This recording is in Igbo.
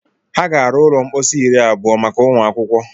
Ha ga-arụ ụlọ mposi iri abụọ maka ụmụ akwụkwọ.